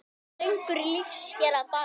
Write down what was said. Söngur lífs hér að baki.